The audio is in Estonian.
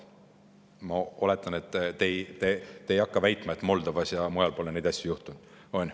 Ma oletan, et te ei hakka väitma, et Moldovas ja mujal pole neid asju juhtunud.